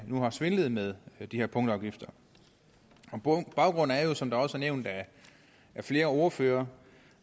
nu har svindlet med de her punktafgifter baggrunden er jo som det også er nævnt af flere ordførere